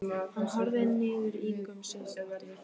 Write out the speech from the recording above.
Hann horfði niður í gumsið og glotti.